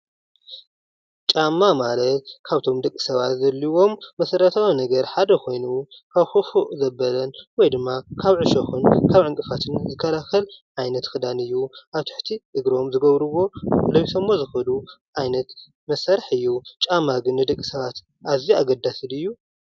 ጫማ ማለት ካብቶም ንደቂሰባት ዘድልዩዎም መሰረታዉያን ነገራት ሓደ ኮይኑ ካብ ኩፉእ ዘበለ ወይድማ ካብ ዕሾክ ይኩን ካብ ዕንቅፋትን ዝከላከል ዓይነት ክዳን እዩ ፤ኣብ ትሕቲ እግሮም ዝገብርዎ ለቢሶሞ ዝከዱ ዓይነት መሳርሒ እዩ ።ጫማ ግን ንደቂ ሰባት ኣዝዩ ኣገዳሲ ድዩ?